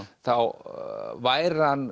þá væri hann